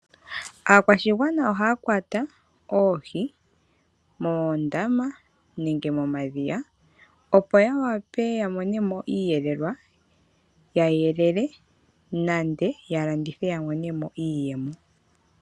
Aakwashigwana ohaya kwata oohi moondama nenge momadhiya, opo ya wape ya mone mo iiyelelwa, ya yelele nande ya landithe ya mone mo iiyemo.